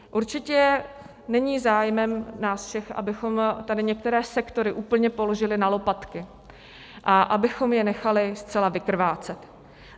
Určitě není zájmem nás všech, abychom tady některé sektory úplně položili na lopatky a abychom je nechali zcela vykrvácet.